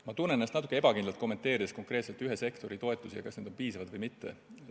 Ma tunnen ennast natuke ebakindlalt, kommenteerides konkreetselt ühe sektori toetusi ja seda, kas need on piisavad või mitte.